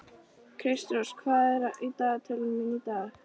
Kristrós, hvað er á dagatalinu mínu í dag?